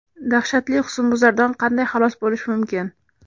Dahshatli husnbuzardan qanday xalos bo‘lish mumkin?.